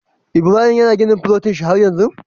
Ibrahim yana gini a filotin shi har yanzu?